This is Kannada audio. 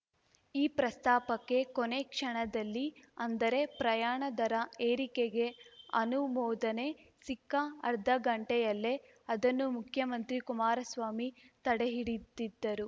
ಈ ಪ್ರಸ್ತಾಪಕ್ಕೆ ಕೊನೇ ಕ್ಷಣದಲ್ಲಿ ಅಂದರೆ ಪ್ರಯಾಣ ದರ ಏರಿಕೆಗೆ ಅನುಮೋದನೆ ಸಿಕ್ಕ ಅರ್ಧಗಂಟೆಯಲ್ಲೇ ಅದನ್ನು ಮುಖ್ಯಮಂತ್ರಿ ಕುಮಾರಸ್ವಾಮಿ ತಡೆಹಿಡಿದಿದ್ದರು